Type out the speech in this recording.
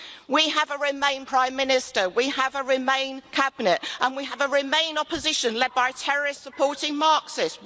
We have a Remain Prime Minister, we have a Remain cabinet and we have a Remain Opposition led by terrorist supporting Marxist.